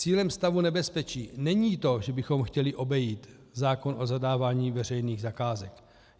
Cílem stavu nebezpečí není to, že bychom chtěli obejít zákon o zadávání veřejných zakázek.